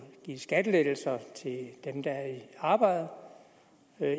gives skattelettelser til dem der er i arbejde og